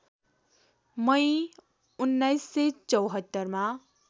मई १९७४ मा